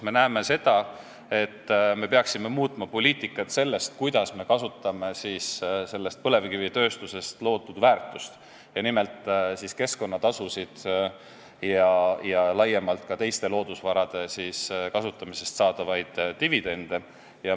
Me näeme, et me peaksime muutma seda poliitikat, kuidas me kasutame põlevkivitööstuses loodud väärtust, nimelt peame silmas keskkonnatasusid ja laiemalt ka teiste loodusvarade kasutamisest saadavaid dividende.